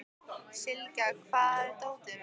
Sylgja, hvar er dótið mitt?